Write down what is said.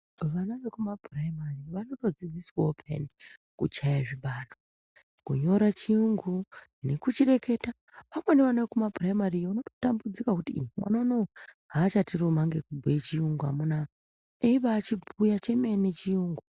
Vana zvekuma phuraimari vanotodzidziswawo peyani kuchaya zvibaro, kunyora chiyungu nekuchireketa amweni ana ekuma phuraimariyo unototambudzika kuti mwana unou haachatiruma nekubhuya chiyungu amunaa eibaachibhuya chemene chiyungu.